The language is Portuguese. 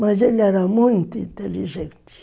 Mas ele era muito inteligente.